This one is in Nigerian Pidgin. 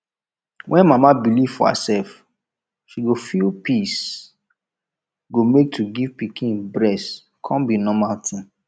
when mama believe for herself she go feel peacee go make to give pikin breast come be normal tin